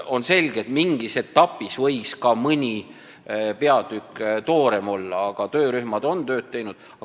On selge, et mingis etapis võis mõni peatükk ka toorem olla, aga töörühmad on tööd teinud.